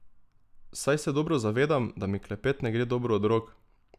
Saj se dobro zavedam, da mi klepet ne gre dobro od rok.